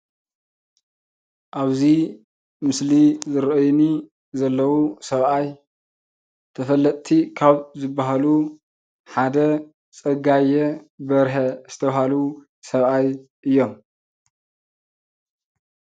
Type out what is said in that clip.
ኣብዚ ምስሊ ይርአዩኒ ዘለዉ ሰብኣይ ተፈለጥቲ ካብ ዝበሃሉ ሓደ ፀጋየ በርሀ ዝተባህሉ ሰብኣይ እዮም፡፡